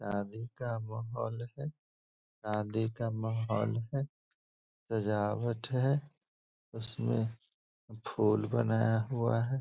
शादी का माहौल है। शादी का माहौल है सजावट है। उसमे फुल बनाया हुआ है।